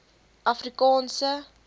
afrikaanse